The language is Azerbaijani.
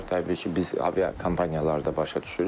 Təbii ki, biz aviakompaniyalar da başa düşürük.